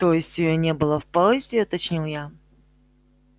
то есть её не было в поезде уточнил я